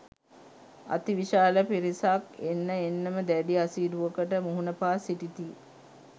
අතිවිශාල පිරිසක් එන්න එන්නම දැඩි අසීරුවකට මුහුණ පා සිටිති.